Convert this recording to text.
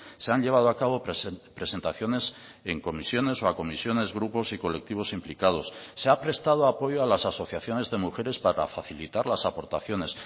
se han llevado a cabo presentaciones en comisiones o a comisiones grupos y colectivos implicados se ha prestado apoyo a las asociaciones de mujeres para facilitar las aportaciones